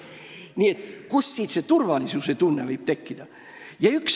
Nii et kuidas võiks selle taustal turvalisuse tunne tekkida?